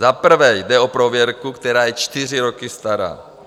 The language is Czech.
Za prvé, jde o prověrku, která je čtyři roky stará.